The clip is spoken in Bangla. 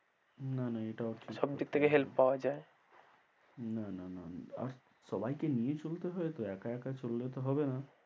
না না এটাও ঠিক, সব দিক থেকে help পাওয়া যায়। না না না আর সবাইকে নিয়েই চলতে হয় তো, একা একা চললে তো হবে না।